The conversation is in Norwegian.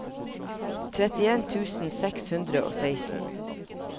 trettien tusen seks hundre og seksten